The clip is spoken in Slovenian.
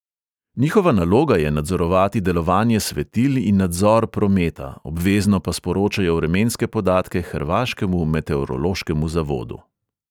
Njihova naloga je nadzorovati delovanje svetil in nadzor prometa, obvezno pa sporočajo vremenske podatke hrvaškemu meteorološkemu zavodu.